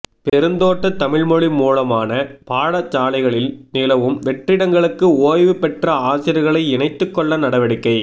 பெருந்தோட்ட தமிழ்மொழி மூலமான பாடசாலைகளில் நிலவும் வெற்றிடங்களுக்கு ஓய்வு பெற்ற ஆசிரியர்களை இணைத்துக்கொள்ள நடவடிக்கை